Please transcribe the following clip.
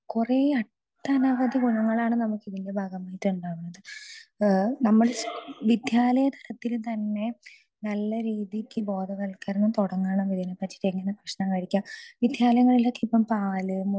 speaker 2 കുറേ ഒട്ടനവധി ഗുണങ്ങളാണ് നമുക്ക് ഇതിന്റെ ഭാഗമായി ഉണ്ടാകുന്നത് നമ്മൾ വിദ്യാലയത്തിൽ തന്നെ നല്ല രീതിക്ക് ബോധവൽക്കരണം തുടങ്ങണം ഇതിനെ പറ്റി എങ്ങനെ ഭക്ഷണം കഴിക്കാം വിദ്യാലയങ്ങളിലേക്ക് ഇപ്പൊ പാല്